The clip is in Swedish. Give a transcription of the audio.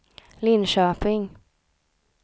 Linköping